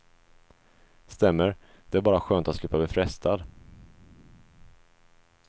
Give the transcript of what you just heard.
Stämmer, det är bara skönt att slippa bli frestad.